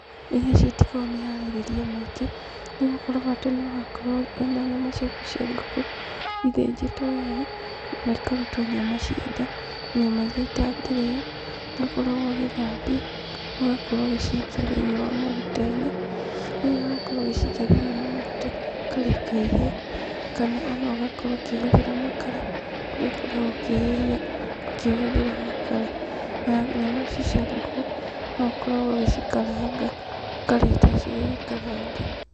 Irio ici itikoragwo mĩharĩrĩrie mĩingĩ, nĩgũkorwo bata nĩũgakorwo wĩna nyama ciaku cia ngũkũ ithĩnjĩtwo wega, na ikarutwo nyama cia nda, nyama iria itangĩrĩo, nĩũkoragwo ũgĩcithambuia, ũgakorwo ũgĩcikia thĩinĩ wa maguta-inĩ, rĩrĩa wakorwo ũgĩcikia thĩnĩ wa maguta, ũkareka ihĩe, kana ona ũgakorwo ũkĩhũthĩra makara, kũrĩa ũkoragwo ũkĩhĩhia ũkĩhũthĩra makara, na nyama ici cia ngũkũ noũkoragwo ũgĩcikaranga ũkarĩa taciĩngarange.